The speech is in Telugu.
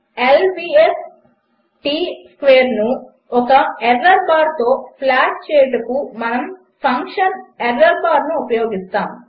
L విఎస్ T స్క్వేర్ను ఒక ఎర్రర్ బార్తో ప్లాట్ చేయుటకు మనము ఫంక్షన్ ఎర్రోర్బార్ ను ఉపయోగిస్తాము